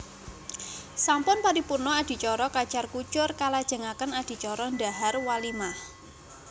Sampun paripurna adicara kacar kucur kalajengaken adicara dhahar walimah